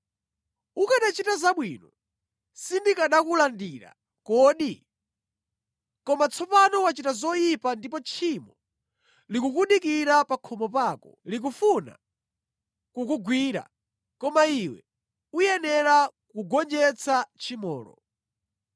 Ukanachita zabwino sindikanakulandira kodi? Koma tsopano wachita zoyipa ndipo tchimo likukudikira pa khomo pako, likufuna kukugwira; koma iwe uyenera kugonjetsa tchimolo.”